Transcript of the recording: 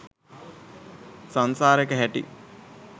සංසාරෙක හැටි